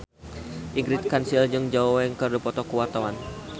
Ingrid Kansil jeung Zhao Wei keur dipoto ku wartawan